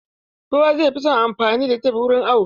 Kowa zai fi son anfani da tep wurin awo.